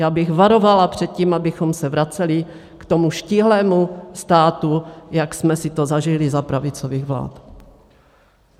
Já bych varovala před tím, abychom se vraceli k tomu štíhlému státu, jak jsme si to zažili za pravicových vlád.